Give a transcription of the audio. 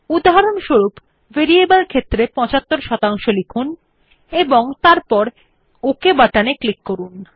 উদাহরণস্বরূপ ভ্যারাইবল ক্ষেত্রের 75 লিখুন এবং তারপর ওক বাটনে ক্লিক করুন